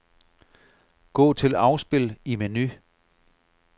Gå til afspil i menu.